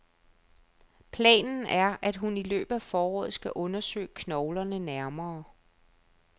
Planen er, at hun i løbet af foråret skal undersøge knoglerne nærmere.